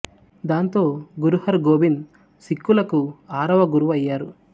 దాంతో గురు హర్ గోబింద్ సిక్ఖులకు ఆరవ గురువు అయ్యారు